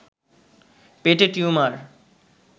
পেটে টিউমার